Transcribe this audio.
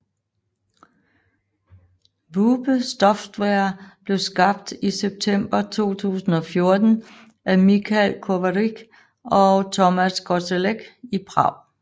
Wube Software blev skabt i september 2014 af Michal Kovařík og Tomáš Kozelek i Prag